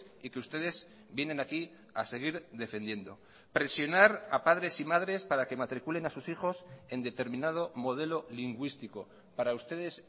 y que ustedes vienen aquí a seguir defendiendo presionar a padres y madres para que matriculen a sus hijos en determinado modelo lingüístico para ustedes